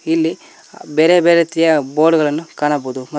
ಇಲ್ಲಿ ಬೇರೆ ಬೇರೆ ರೀತಿಯ ಬೋರ್ಡ್ ಗಳನ್ನು ಕಾಣಬಹುದು ಮ --